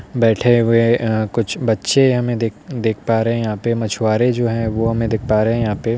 बैठे हुए अ कुछ बच्चे हमे दिख दिख पा रहे हैं यहाँ पे । मछुआरे जो है वो हमे दिख पा रहे हैं यहाँ पे ।